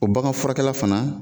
O bagan furakɛla fana